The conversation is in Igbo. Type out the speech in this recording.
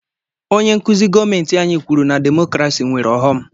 Onye nkụzi gọọmenti anyị kwuru na demokrasi nwèrè ọghọm.